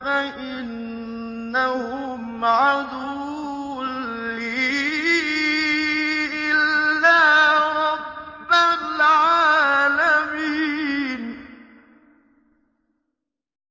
فَإِنَّهُمْ عَدُوٌّ لِّي إِلَّا رَبَّ الْعَالَمِينَ